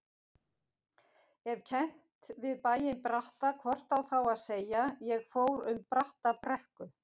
Ef kennt við bæinn Bratta hvort á þá að segja: ég fór um Brattabrekku.